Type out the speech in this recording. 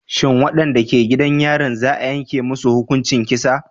Shin wadanda ke gidan yarin za a yanke musu hukuncin kisa